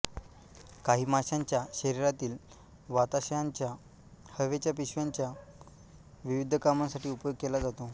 काही माशांच्या शरीरातील वाताशयांचा हवेच्या पिशव्यांचा विविध कामांसाठी उपयोग केला जातो